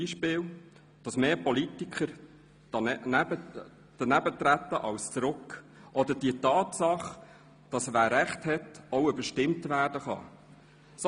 Beispielsweise darüber, dass mehr Politiker daneben treten als zurück, oder über die Tatsache, dass wer Recht hat, auch überstimmt werden kann.